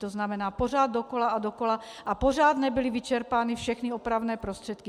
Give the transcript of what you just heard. To znamená pořád dokola a dokola a pořád nebyly vyčerpány všechny opravné prostředky.